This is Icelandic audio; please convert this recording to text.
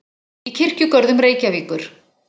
í Kirkjugörðum Reykjavíkur.